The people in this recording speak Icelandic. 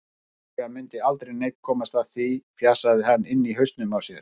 Sennilega mundi aldrei neinn komast að því, fjasaði hann inni í hausnum á sér.